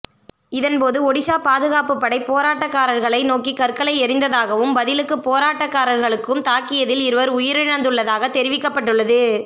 இதன் போது ஒடிசா பாதுகாப்பு படை போராட்டக்காரர்களை நோக்கி கற்களை எறிந்ததாகவும் பதிலுக்கு போராட்டக்காரர்களுக்கும் தாக்கியதில் இருவர் உயிரிழந்துள்ளதாக தெரிவிக்கப்பட்டுள்ளது